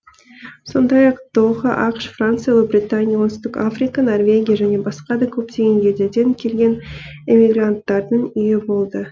сондай ақ доха ақш франция ұлыбритания оңтүстік африка норвегия және басқа да көптеген елдерден келген эмигранттардың үйі болды